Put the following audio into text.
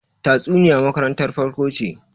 tatsuniya makarantar farko ce